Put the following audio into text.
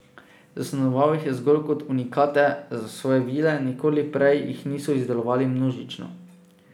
Zasnoval jih je zgolj kot unikate za svoje vile, nikoli prej jih niso izdelovali množično.